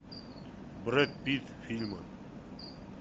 брэд питт фильмы